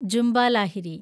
Jhumpa Lahiri